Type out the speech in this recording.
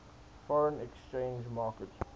foreign exchange market